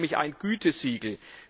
Es ist nämlich ein Gütesiegel.